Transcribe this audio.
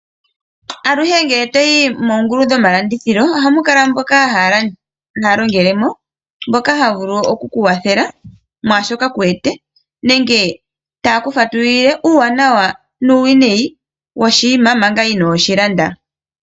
Aluhe ngele toyi moongulu dhomalandithilo oha mu kala mboka haya longelemo ngoka ha vulu okukukwathela mwashoka kuuwete nenge taye ku fatululile uuwanawa uuwinayi woshinima omanga ino shi landa.